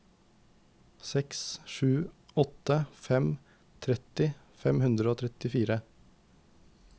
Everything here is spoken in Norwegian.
seks sju åtte fem tretti fem hundre og tjuefire